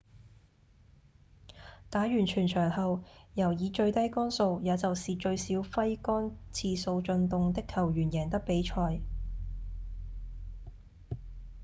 打完全場後由以最低桿數也就是最少揮桿次數進洞的球員贏得比賽